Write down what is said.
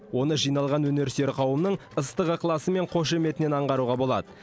оны жиналған өнерсүйер қауымның ыстық ықыласы мен қошеметінен аңғаруға болады